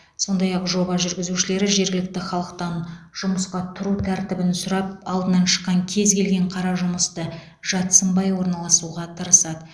сондай ақ жоба жүргізушілері жергілікті халықтан жұмысқа тұру тәртібін сұрап алдынан шыққан кез келген қара жұмысты жат сынбай орналасуға тырысады